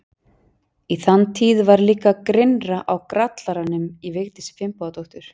Í þann tíð var líka grynnra á grallaranum í Vigdísi Finnbogadóttur.